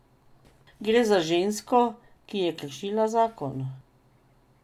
Gre za žensko, ki je kršila zakon.